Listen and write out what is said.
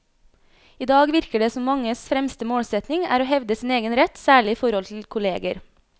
I dag virker det som manges fremste målsetning er å hevde sin egen rett, særlig i forhold til kolleger.